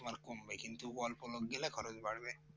তোমার কমবে কিন্তু অল্প লোক গেলে খরচ বাড়বে